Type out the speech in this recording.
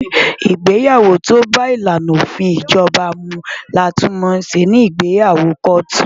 Ìgbéyàwó tó bá ìlànà òfin ìjọba mu ni a tún mọ̀ sí ìgbéyàwó kóòtù.